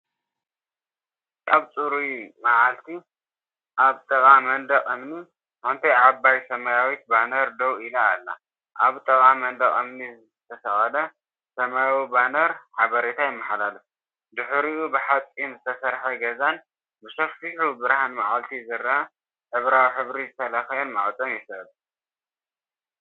እዚ ኣብ ጽሩይ መዓልቲ፡ ኣብ ጥቓ መንደቕ እምኒ፡ሓንቲ ዓባይ ሰማያዊት ባነር ደው ኢላ ኣላ። ኣብ ጥቓ መንደቕ እምኒ ዝተሰቕለ ሰማያዊ ባነር ሓበሬታ የመሓላልፍ፡ድሕሪኡ ብሓጺን ዝተሰርሐ ገዛን ብሰፊሕ ብርሃን መዓልቲ ዝረአ ሕብራዊ ሕብሪ ዝተለኽየ ማዕጾን ይስዕብ።"